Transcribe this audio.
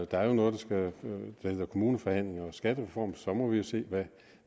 der er jo noget der hedder kommuneforhandlinger og skattereform og så må vi se